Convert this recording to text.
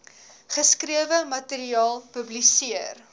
geskrewe materiaal publiseer